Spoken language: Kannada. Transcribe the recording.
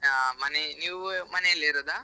ಆ ಮನೆ ನೀವು ಮನೆಯಲ್ಲಿರೋದಾ?